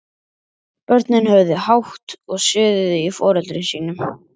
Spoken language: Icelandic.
Börnin höfðu hátt og suðuðu í foreldrum sínum.